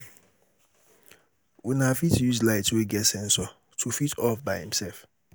Una fit use light wey get sensor to fit off by im self